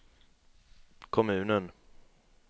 kommunen